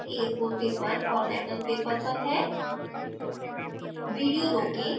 यह नियत कार्य a4 paper और letter paper पर है